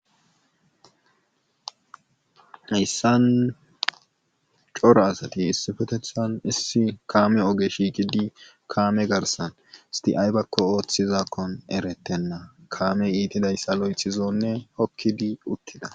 Hayssan cora asati issipetethan issi kaame oge shiiqidi kaame garssan isthi aybakko oothizankkon erettenna kaamee itidayssa loyttizoonne hokkidi uttida.